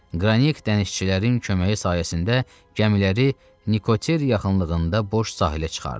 Qranik dənizçilərin köməyi sayəsində gəmiləri Nikoter yaxınlığında boş sahilə çıxardı.